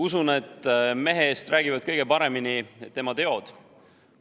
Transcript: Usun, et mehe eest räägivad kõige paremini tema teod.